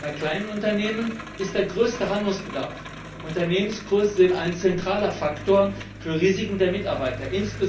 Bei kleinen Unternehmen besteht der größte Handlungsbedarf. Unternehmensgrößen sind ein zentraler Faktor für Risiken der Mitarbeiter.